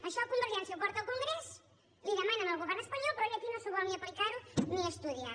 això convergència ho porta al congrés li ho demana al govern espanyol però ell aquí no s’ho vol ni aplicar ni estudiar